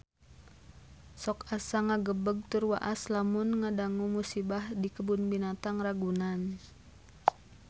Sok asa ngagebeg tur waas lamun ngadangu musibah di Kebun Binatang Ragunan